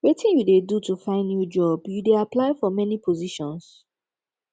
wetin you dey do to find new job you dey apply for many positions